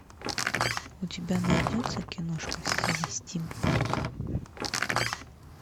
у тебя найдется киношка в стиле стимпанка